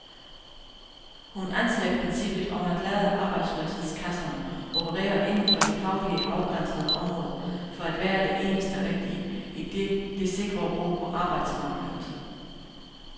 Hun anser princippet om at lade arbejdsløshedskasserne operere inden for faglige afgrænsede områder for at være det eneste rigtige, idet det sikrer ro på arbejdsmarkedet.